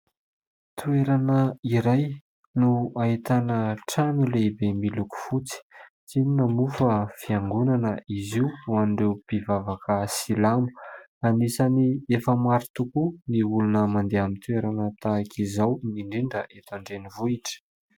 Toerana iray no ahitana trano lehibe miloko fotsy, tsy inona moa fa fiangonana izy io ho an'ireo mpivavaka silamo. Anisany efa maro tokoa ny olona mandeha amin'ny toerana tahaka izao indindra indrindra eto an-drenivohitra.